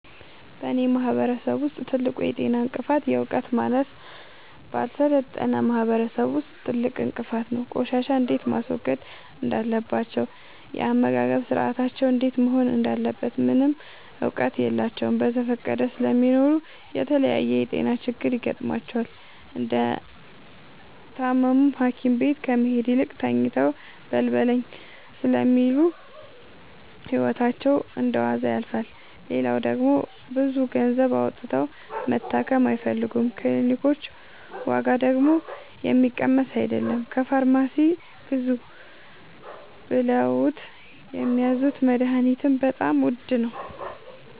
በእኔ ማህበረሰብ ውስጥ ትልቁ የጤና እንቅፍት የዕውቀት ማነስ በአልሰለጠነ ማህበረሰብ ውስጥ ትልቁ እንቅፋት ነው። ቆሻሻ እንዴት ማስወገድ እንዳለባቸው የአመጋገብ ስርአታቸው እንዴት መሆን እንዳለበት ምንም እውቀት የላቸውም በዘፈቀደ ስለሚኖሩ ለተለያየ የጤና ችግር ይጋረጥባቸዋል። እንደታመሙም ሀኪቤት ከመሄድ ይልቅ ተኝተው በልበለኝ ስለሚሉ ህይወታቸው እንደዋዛ ያልፋል። ሌላው ደግሞ ብዙ ገንዘብ አውጥተው መታከም አይፈልጉም ክኒልኮች ዋጋደግሞ የሚቀመስ አይለም። ከፋርማሲ ግዙ ብለውት የሚያዙት መደሀኒትም በጣም ውድ ነው።